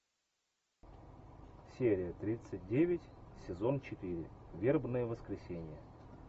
серия тридцать девять сезон четыре вербное воскресенье